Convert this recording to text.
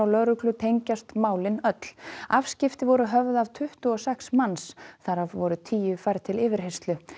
lögreglu tengjast málin öll afskipti voru höfð af tuttugu og sex manns þar af voru tíu færð til yfirheyrslu